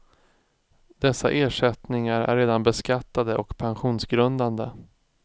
Dessa ersättningar är redan beskattade och pensionsgrundande.